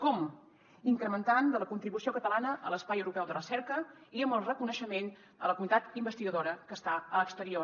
com incrementant de la contribució catalana a l’espai europeu de recerca i amb el reconeixement a la comunitat investigadora que està a l’exterior